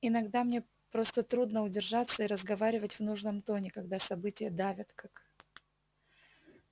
иногда мне просто трудно удержаться и разговаривать в нужном тоне когда события давят как